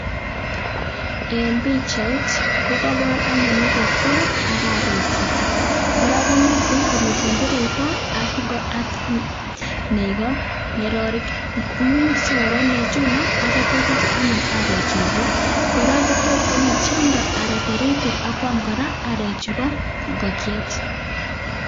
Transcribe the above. En bichait kokabar anyun ingokiet ak arek chik koraa komiten komiten tirita. Ab nego ngerorik imuche korwai nego chuton akitya kotiech anyu arek chuton koraa kot konyo tyany anan taritik akwam arek Chuba ingokiet